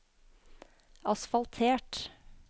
asfaltert